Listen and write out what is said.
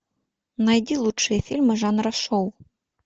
найди лучшие фильмы жанра шоу